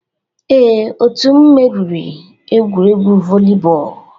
Ee, otu m meriri egwuregwu volleyball